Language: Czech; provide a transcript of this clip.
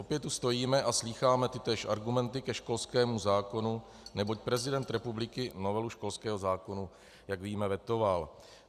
Opět tu stojíme a slýcháme tytéž argumenty ke školskému zákonu, neboť prezident republiky novelu školského zákona, jak víme, vetoval.